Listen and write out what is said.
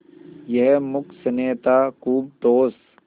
यह मूक स्नेह था खूब ठोस